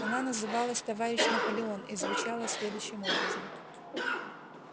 она называлась товарищ наполеон и звучала следующим образом